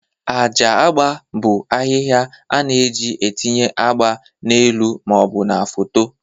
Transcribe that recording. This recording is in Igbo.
Acha agba bụ ahịhịa a na-eji etinye agba n'elu ma ọ bụ na foto.